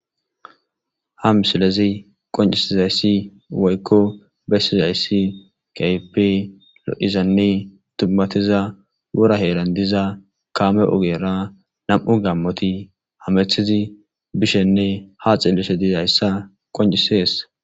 ha misilezi qoncisizayssi woykko bessizayssi kaype lo7izanne tummatiza wora heeran diza kaame ugeera nam7u gammoti hamethizi bishenne ha xillese dizayssa qoncisees